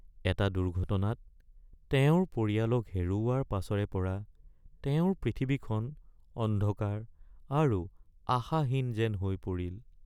এটা দুৰ্ঘটনাত তেওঁৰ পৰিয়ালক হেৰুওৱাৰ পাছৰে পৰা তেওঁৰ পৃথিৱীখন অন্ধকাৰ আৰু আশাহীন যেন হৈ পৰিল।